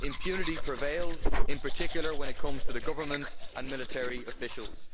Impunity prevails, in particular when it comes to the government and military officials.